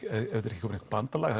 ekki koið neitt bandalag